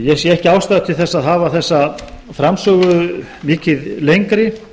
ég sé ekki ástæðu til að hafa þessa framsögu mikið lengri